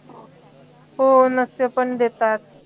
हो नस्य पण देतात